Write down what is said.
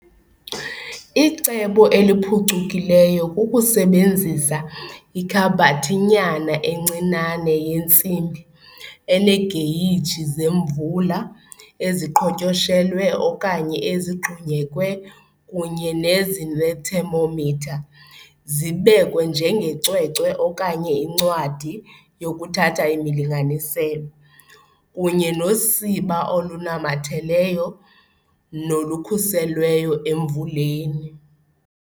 Icebo eliphucukileyo kukusebenzisa ikhabhathinyana encinane yentsimbi eneegeyiji zemvula eziqhotyoshelwe okanye ezigxunyekwe kunye nezinethemometha zibekwe njengecwecwe okanye incwadi yokuthatha imilinganiselo, kunye nosiba olunamatheleyo, nolukhuselweyo emvuleni.